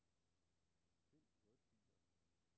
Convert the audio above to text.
Find wordfiler.